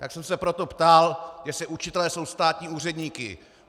Tak jsem se proto ptal, jestli učitelé jsou státní úředníci.